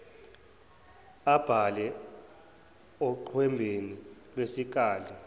abhale oqwembeni lwesikali